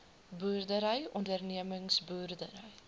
boerdery ondernemings boerdery